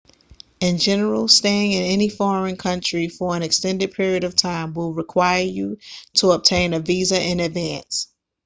in general staying in any foreign country for an extended period of time will require you to obtain a visa in advance